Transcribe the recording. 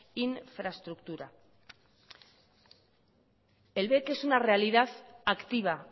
infraestructura el bec es una realidad activa